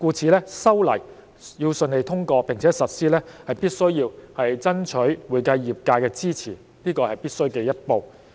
正是由於茲事體大，故此修例要順利通過並且實施，是必需爭取會計業界的支持，這是必需的一步。